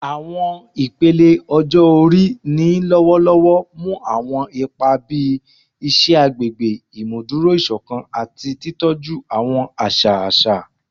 Awọn ipele ọjọ-ori ni lọwọlọwọ mu awọn ipa bii iṣẹ agbegbe, imuduro isokan, ati titọju awọn aṣa aṣa